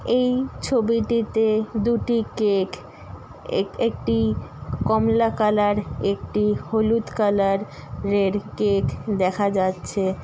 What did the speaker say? এই ছবিটিতে দুটি কেক এক একটি কমলা কালার একটি হলুদ কালার -রের কেক দেখা যাচ্ছে।